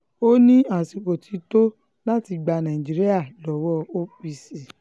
ó ní àsìkò um ti tó láti gba nàìjíríà lọ́wọ́ um apc